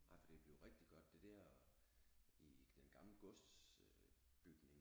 Nej for det er blevet rigtig godt det der i den gamle gods øh bygning er det